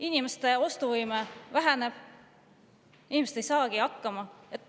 Inimeste ostuvõime väheneb, inimesed ei saagi hakkama.